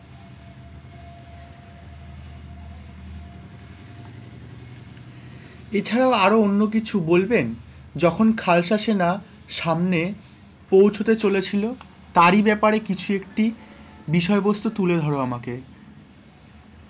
এছাড়া আরও অন্য কিছু বলবেন, যখন খালতা সেনারা সামনে পৌঁছেছিল তারই ব্যাপারে কিছু একটি বিষয় বস্তু তুলে ধর আমাকে?